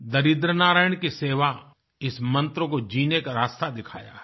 दरिद्र नारायण की सेवा इस मन्त्र को जीने का रास्ता दिखाया है